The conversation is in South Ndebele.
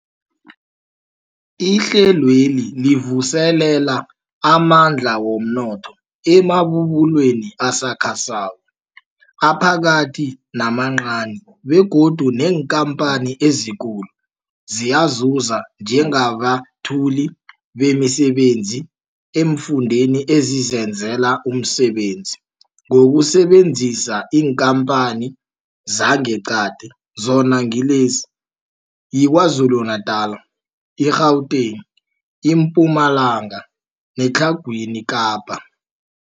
Ihlelweli livuselela amandla womnotho emabubulweni asakhasako, aphakathi namancani begodu neenkhamphani ezikulu ziyazuza njengabethuli bemisebenzi eemfundeni ezizenzela umsebenzi ngokusebenzisa iinkhamphani zangeqadi, zona ngilezi, yiKwaZulu-Natala, i-Gauteng, iMpumalanga neTlhagwini Kapa.